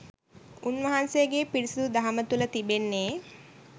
උන්වහන්සේගේ පිරිසිදු දහම තුළ තිබෙන්නේ